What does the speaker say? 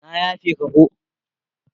Na yafe ka ko.